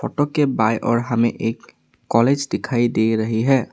Photo के बाई और हमें एक कॉलेज दिखाई दे रही है।